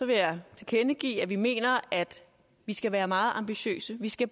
vil jeg tilkendegive at vi mener at vi skal være meget ambitiøse vi skal